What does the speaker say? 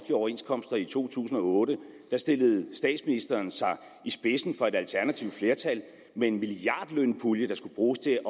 overenskomster i to tusind og otte stillede statsministeren sig i spidsen for et alternativt flertal med en milliardlønpulje der skulle bruges til